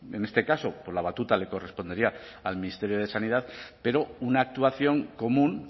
en este caso pues la batuta le correspondería al ministerio de sanidad pero una actuación común